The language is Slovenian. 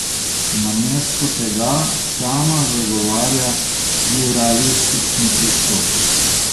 Namesto tega sama zagovarja pluralistični pristop.